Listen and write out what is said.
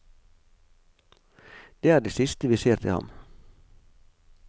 Det er det siste vi ser til ham.